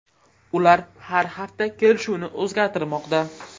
Ular har hafta kelishuvni o‘zgartirmoqda.